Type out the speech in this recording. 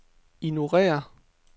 ignorér